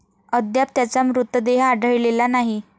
अद्याप त्याचा मृतदेह आढळलेला नाही.